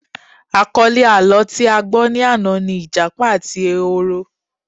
Àkọlé àlọ́ tí a gbọ́ ni àná ni Ìjápa àti ehoro